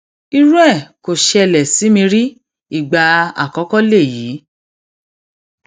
irú ẹ kò ṣẹlẹ sí mi rí ìgbà àkọkọ lèyí